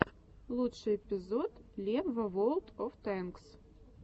лучший эпизод лебва ворлд оф тэнкс